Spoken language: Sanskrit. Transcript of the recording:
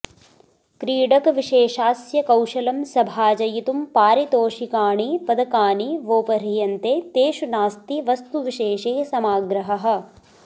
क्रीडकविशेषास्य कौशलं सभाजयितुं पारितोषिकाणि पदकानि वोपह्रियन्ते तेषु नास्ति वस्तुविशेषे समाग्रहः